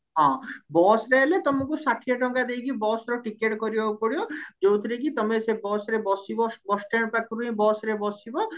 ହଁ busରେ ହେଲେ ତମକୁ ଷାଠିଏ ଟଙ୍କା ଦେଇକି busର ଟିକେଟ କରିବାକୁ ପଡିବ ଯୋଉଥିରେ କି ତମେ ସେ busରେ ବସିବ bus stand ପାଖରୁ ହିଁ busରେ ବସିବ